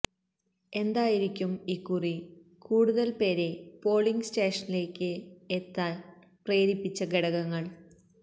എന്തായിരിക്കും ഇക്കുറി കൂടുതല് പേരെ പോളിംഗ് സ്റ്റേഷനിലേക്ക് എത്താന് പ്രേരിപ്പിച്ച ഘടകങ്ങള്